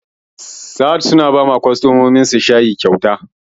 Sahad suna bawa kwastamominsu shayi kyauta